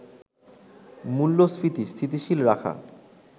মূল্যস্ফীতি স্থিতিশীল রাখা